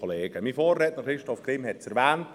Mein Vorredner, Christoph Grimm, hat es erwähnt.